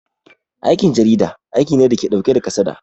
Aikin jarida aiki ne dake ɗauke da kasada